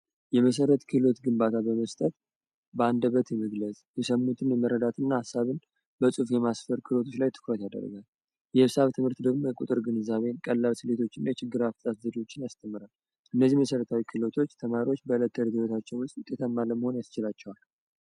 የመሠረት ክህሎት ግንባታ በመስጠት በአንደበት የመግለጽ የሰሙትን የመረዳትና ሀሳብን በጽሁፎ የማስፈር ክህሎት ላይ ትኩረት ያደርጋል የሒሳብ ትምህርት ደግሞ የቁጥር ግንዛቤን ቀላል ስሌቶችና የችግር አፈታት ዘዴዎችን ያስተምራል እነዚህን መሠረታዊ ክህሎቶች ተማሪዎች በለተለት ህይወታቸው ውስጥ ለመሆን ያስችላቸዋል።